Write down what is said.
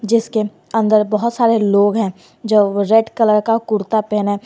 जिसके अंदर बहोत सारे लोग है जो रेड कलर का कुर्ता पहने--